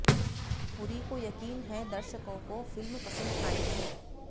पुरी को यकीन है दर्शकों को फिल्म पसंद आएगी